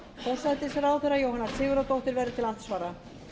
forsætisráðherra jóhanna sigurðardóttir verður til andsvara